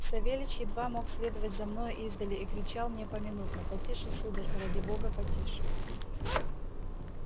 савельич едва мог следовать за мною издали и кричал мне поминутно потише сударь ради бога потише